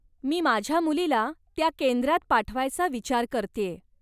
मी माझ्या मुलीला त्या केंद्रात पाठवायचा विचार करतेय.